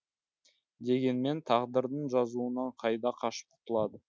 дегенмен тағдырдың жазуынан қайда қашып құтылады